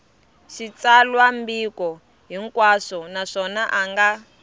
xitsalwambiko hinkwaxo naswona a nga